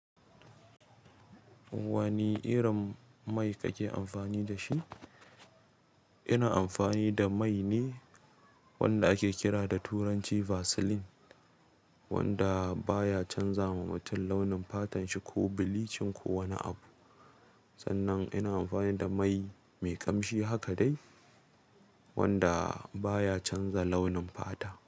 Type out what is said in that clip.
Wanne irin mai kake amfani dashi ina amfani da mai ne wanda ake kira da turanci Vaseline, wanda baya canzawa mutum launin fatan shi ko bilicin ko wani abu. Sannan ina amfani da mai mai ƙamshi haka dai wanda baya canza launin fata.